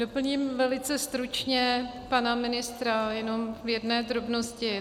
Doplním velice stručně pana ministra jenom v jedné drobnosti.